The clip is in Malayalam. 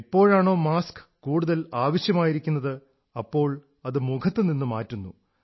എപ്പോഴാണോ മാസ്ക് കൂടുതൽ ആവശ്യമായിരിക്കുന്നത് അപ്പോൾ അത് മുഖത്തുനിന്നു മാറ്റുന്നു